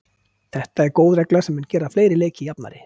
Þetta er góð regla sem mun gera fleiri leiki jafnari.